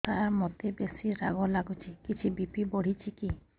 ସାର ମୋତେ ବେସି ରାଗ ଲାଗୁଚି କିଛି ବି.ପି ବଢ଼ିଚି କି